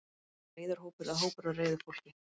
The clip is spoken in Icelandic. Er þetta reiður hópur eða hópur af reiðu fólki?